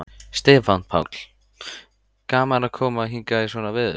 Stefán Páll: Gaman að koma hingað í svona veður?